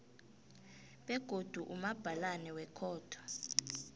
begodu umabhalana wekhotho